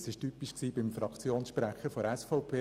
Das war typisch beim Fraktionssprecher der SVP.